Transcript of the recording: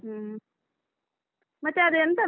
ಹೂಂ ಮತ್ತೆ ಅದೆಂತ.